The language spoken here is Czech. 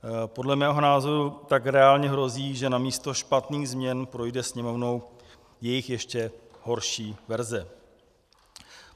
Podle mého názoru tak reálně hrozí, že namísto špatných změn projde Sněmovnou jejich ještě horší verze.